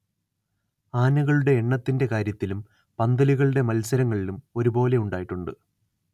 ആനകളൂടെ എണ്ണത്തിന്റെ കാര്യത്തിലും പന്തലുകളൂടെ മത്സരങ്ങളിലും ഒരു പോലെ ഉണ്ടായിട്ടുണ്ട്